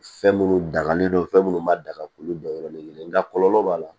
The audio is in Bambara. Fɛn minnu dangalen don fɛn minnu ma da ka k'olu dɔn yɔrɔni kelen nka kɔlɔlɔ b'a la